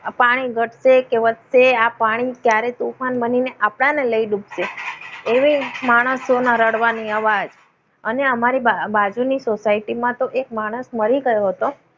આ પાણી ઘટશે કે વચ્ચે આ પાણી ક્યારે તોફાન બનીને આવે ને લઈ ડૂબે. એવી માણસોના રડવાની અવાજ અને અમારી બાજુમાં બાજુની સોસાયટી મા એક માણસ મરી ગયો હતો.